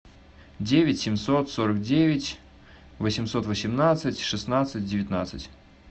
девять семьсот сорок девять восемьсот восемнадцать шестнадцать девятнадцать